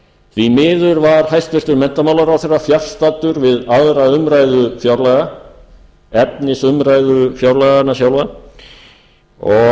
því miður var hæstvirtur menntamálaráðherra fjarstaddur við aðra umræðu fjárlaga efnisumræðu fjárlaganna sjálfa og